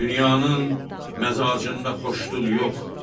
Dünyanın məzacında xoşluq yox.